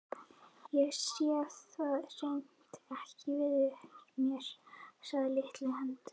Ég sé það hreint ekki fyrir mér, sagði litli höndlarinn.